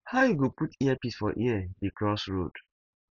how you go put earpiece for ear dey cross road